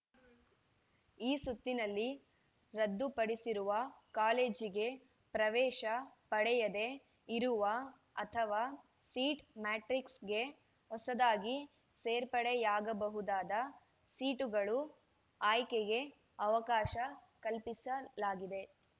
ಈ ಸುತ್ತಿನಲ್ಲಿ ರದ್ದುಪಡಿಸಿರುವ ಕಾಲೇಜಿಗೆ ಪ್ರವೇಶ ಪಡೆಯದೆ ಇರುವ ಅಥವಾ ಸೀಟ್‌ ಮ್ಯಾಟ್ರಿಕ್ಸ್‌ಗೆ ಹೊಸದಾಗಿ ಸೇರ್ಪಡೆಯಾಗಬಹುದಾದ ಸೀಟುಗಳು ಆಯ್ಕೆಗೆ ಅವಕಾಶ ಕಲ್ಪಿಸಲಾಗಿದೆ